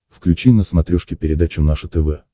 включи на смотрешке передачу наше тв